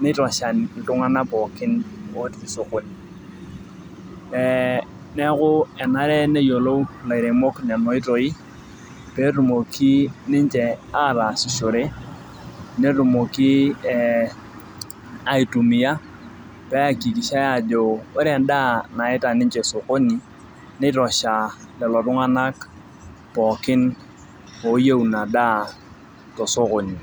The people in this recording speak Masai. neitosha iltururi pookin otii sokoni.ee neeku enare neyiolou ilaremok Nena oitoi pee etumoki ninche ataasishore netumoki ee aitumia neyakikishae aajo ore edaa naita ninche sokoni neitosha lelo tunganak pookin ooyieu Ina daa tosokoni.